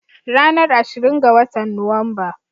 Ranar ashirin ga watan Nuwamba.